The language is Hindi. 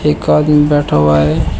एक आदमी बैठा हुआ है।